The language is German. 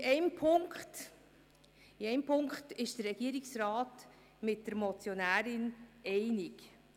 Denn in einem Punkt geht der Regierungsrat mit der Motionärin einig.